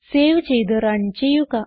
save ചെയ്ത് run ചെയ്യുക